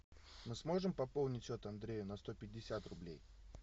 мы сможем пополнить счет андрею на сто пятьдесят рублей